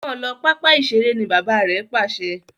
mọ ló papa iṣere.! ní bàbá rẹ Pàṣẹ!